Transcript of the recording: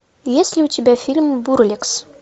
есть ли у тебя фильм бурлекс